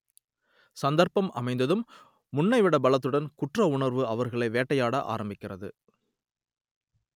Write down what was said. சந்தர்ப்பம் அமைந்ததும் முன்னைவிட பலத்துடன் குற்றவுணர்வு அவர்களை வேட்டையாட ஆரம்பிக்கிறது